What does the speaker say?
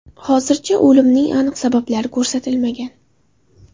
Hozircha o‘limning aniq sabablari ko‘rsatilmagan.